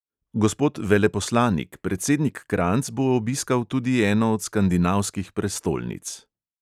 Gospod veleposlanik, predsednik kranjc bo obiskal tudi eno od skandinavskih prestolnic.